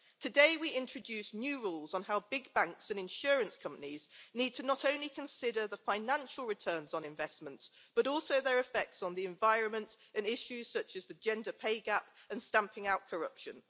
Today, we introduce new rules on how big banks and insurance companies need to not only consider the financial returns on investments, but also their effects on the environment, and issues such as the gender pay gap and stamping out corruption.